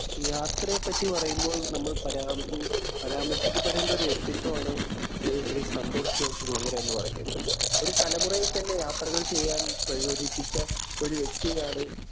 ഈ യാത്രയെ പറ്റി പറയുമ്പോള്‍ പരാമ പരാമര്‍ശിക്കപ്പെടേണ്ട ഒരു വ്യക്തിത്വമാണ് ശ്രീ സന്തോഷ്‌ ജോര്‍ജ്ജ് കുളങ്ങര എന്ന് പറയുന്നത്.ഒരു തലമുറയെ തന്നെ യാത്രകള്‍ ചെയ്യാന്‍ പ്രചോദിപ്പിച്ച ഒരു വ്യക്തിയാണ്